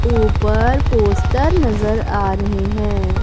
ऊपर पोस्टर नजर आ रहे हैं।